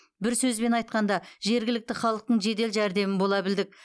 бір сөзбен айтқанда жергілікті халықтың жедел жәрдемі бола білдік